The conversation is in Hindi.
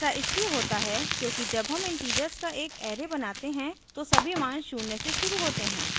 ऐसा इसलिए होता है क्योंकि जब हम integers का एक array बनाते हैं तो सभी मान शून्य से शुरू होते हैं